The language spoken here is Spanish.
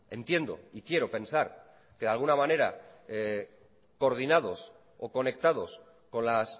entiendo y quiero pensar que de alguna manera coordinados o conectados con las